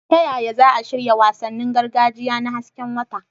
Ta yaya za a shirya wasannin gargajiya na hasken wata?